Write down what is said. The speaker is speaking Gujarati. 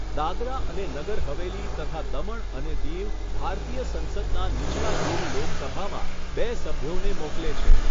દાદરા અને નગર હવેલી તથા દમણ અને દીવ ભારતીય સંસદના નીચલા ગૃહ લોકસભામાં બે સભ્યોને મોકલે છે.